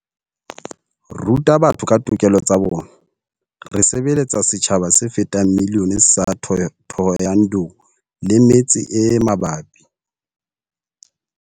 Ruta batho ka ditokelo tsa bona. Re sebeletsa setjhaba se fetang miliyone sa Thohoyandou le metse e mabapi.